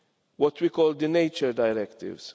what we called the nature directives.